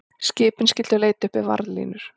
Skipin skyldu leita uppi varðlínur